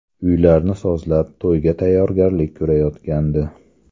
Uylarni sozlab, to‘yga tayyorgarlik ko‘rayotgandi.